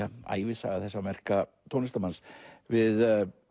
ævisaga þessa merka tónlistarmanns við